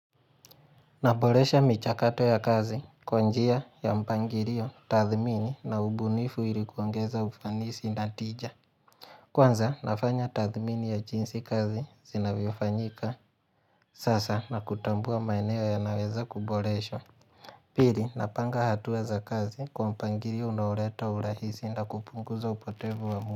Naboresha michakato ya kazi kwa njia ya mpangilio, tathmini na ubunifu ili kuongeza ufanisi na tija Kwanza nafanya tathmini ya jinsi kazi zinavyofanyika sasa na kutambua maeneo ya naweza kuboreshwa Pili napanga hatua za kazi kwa mpangilio unaoleta urahisi na kupunguza upotevu wa mu.